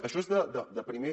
això és de primer